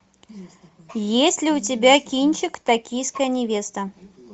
есть ли у тебя кинчик токийская невеста